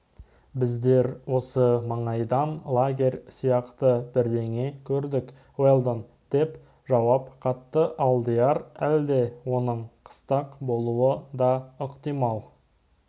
біздер осы маңайдан лагерь сияқты бірдеңе көрдік уэлдон деп жауап қатты алдияр әлде оның қыстақ болуы да ықтимал